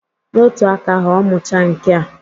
N'otu aka ahụ, ọ muchaa nkea